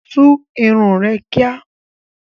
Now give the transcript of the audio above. Tú irun rẹ kíá!